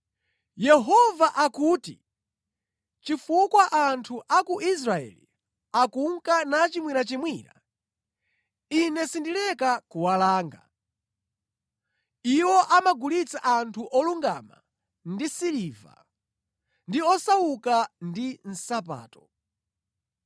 Yehova akuti, “Chifukwa anthu a ku Israeli akunka nachimwirachimwira, Ine sindileka kuwalanga. Iwo amagulitsa anthu olungama ndi siliva, ndi osauka ndi nsapato.